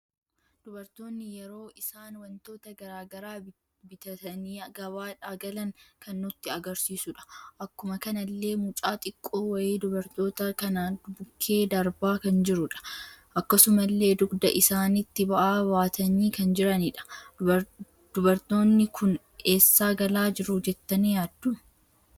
Dubartoonni yeroo isaan wantoota garaagaraa bitaatani gabaadha galan kan nutti agarsiisuudha. Akkuma kanallee mucaa xiqqoo wayii dubartoota kana bukke darbaa kan jirudha. Akkasumalle dugda isaanitti ba'aa baatani kan jiranidha, dubaftoonni kun eessa galaa jiru jettani yaaddu?